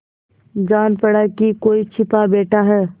जान पड़ा कि कोई छिपा बैठा है